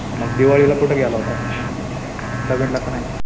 मग दिवाळीला कुठं गेला होता? कुठं हिंडला का नाही?